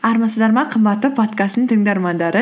армысыздар ма қымбатты подкасттың тыңдармандары